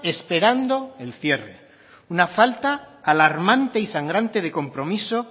esperando el cierre una falta alarmante y sangrante de compromiso